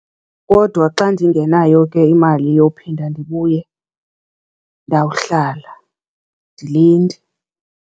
Kodwa xa ndingenayo ke imali yophinda ndibuye ndawuhlala ndilinde.